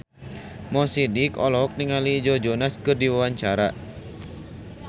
Mo Sidik olohok ningali Joe Jonas keur diwawancara